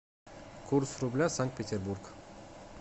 курс рубля санкт петербург